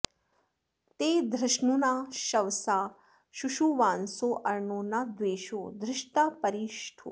ते धृष्णुना शवसा शूशुवांसोऽर्णो न द्वेषो धृषता परि ष्ठुः